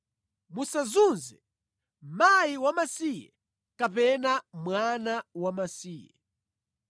“Musazunze mkazi wamasiye kapena mwana wamasiye.